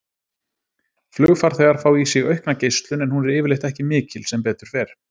Flugfarþegar fá í sig aukna geislun en hún er yfirleitt ekki mikil, sem betur fer.